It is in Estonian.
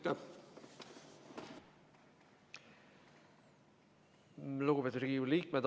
Lugupeetud Riigikogu liikmed!